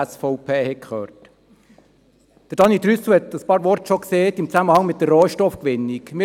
Trüssel hat bereits einige Worte im Zusammenhang mit der Rohstoffgewinnung gesagt.